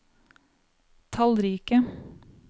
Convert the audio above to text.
tallrike